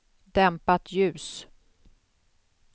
dämpat ljus